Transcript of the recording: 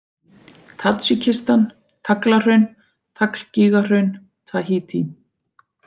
Tadsjikistan, Taglahraun, Taglgígahraun, Tahítí